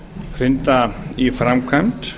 hrinda í framkvæmd